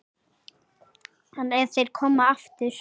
En ef þeir koma aftur?